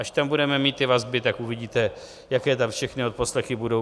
Až tam budeme mít ty vazby, tak uvidíte, jaké tam všechny odposlechy budou.